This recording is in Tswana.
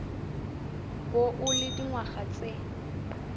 bo o le dingwaga tse